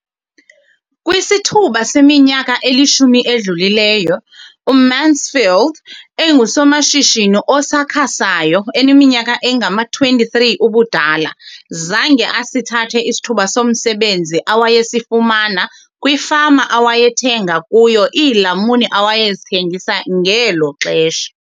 Kwisithuba seminyaka elishumi edlulileyo, uMansfield engusomashishini osakhasayo oneminyaka engama-23 ubudala, zange asithathe isithuba somsebenzi awayesifumana kwifama awayethenga kuyo iilamuni awayezithengisa ngelo xesha.